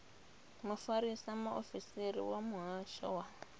mufarisa muofisiri wa muhasho wa